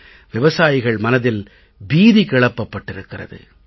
விவசாயிகள் மனதில் பீதி கிளப்பப்பட்டிருக்கிறது